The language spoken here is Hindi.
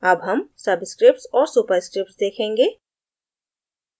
अब हम subscripts और superscripts देखेंगे